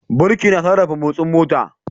Birki na sarrafa motsin mota.